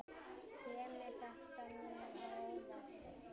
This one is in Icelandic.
Kemur þetta mér á óvart?